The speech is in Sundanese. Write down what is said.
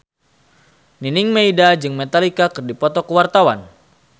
Nining Meida jeung Metallica keur dipoto ku wartawan